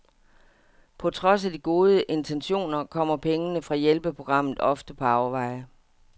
På trods af de gode intentioner kommer pengene fra hjælpeprogrammet ofte på afveje.